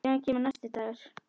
Síðan kemur næsti dagur.